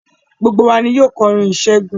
Gbogbo wa ni yóò kọrin ìṣẹ́gun.